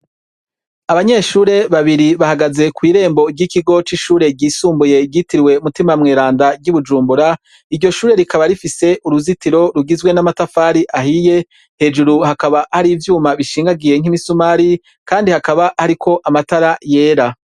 Abanyeshure babiri bahagaze kw'irembo ry'ikigo c'ishure ryisumbuye ryitirwe mutima mweranda ry'ibujumbura; iryoshure rikaba rifise uruzitiro rugizwe n'amatafari ahiye hejuru hakaba hari ivyuma bishingagiye nk'imisumari kandi hakaba hariko amatara yera.